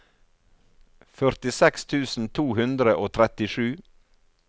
førtiseks tusen to hundre og trettisju